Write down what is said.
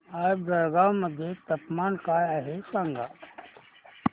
आज जळगाव मध्ये तापमान काय आहे सांगा